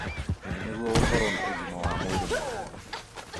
nĩguo gũkorwo na ũgima wa mwĩrĩ mwega.